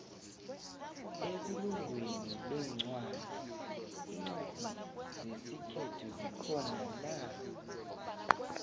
ebulunqweni lencwadi incwadi zesikhethu zikhonana